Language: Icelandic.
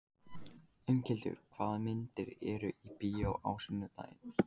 Inghildur, hvaða myndir eru í bíó á sunnudaginn?